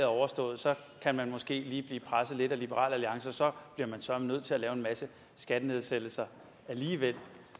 overstået kan man måske lige blive presset lidt af liberal alliance og så bliver man så nødt til at lave en masse skattenedsættelser alligevel